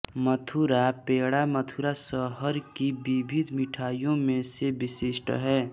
मथुरा पेड़ा मथुरा शहर की विविध मिठाइयों में से विशिष्ट है